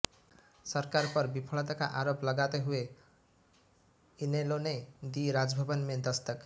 सरकार पर विफलता का आरोप लगाते हुए इनेलो ने दी राजभवन में दस्तक